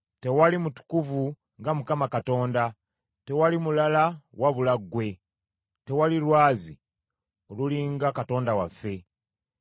Tewali mutukuvu nga Mukama Katonda tewali mulala wabula ggwe; tewali Lwazi oluli nga Katonda waffe.